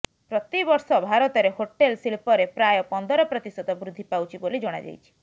ପ୍ରତିବର୍ଷ ଭାରତରେ ହୋଟେଲ ଶିଳ୍ପରେ ପ୍ରାୟ ପନ୍ଦର ପ୍ରତିଶତ ବୃଦ୍ଧି ପାଉଛି ବୋଲି ଜଣାଯାଇଛି